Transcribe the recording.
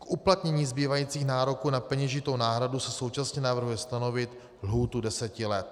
K uplatnění zbývajících nároků na peněžitou náhradu se současně navrhuje stanovit lhůtu deseti let.